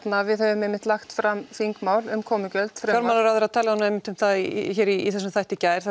við höfum einmitt lagt fram þingmál um komugjöld fjármálaráðherra talaði einmitt um það í þessum þætti í gær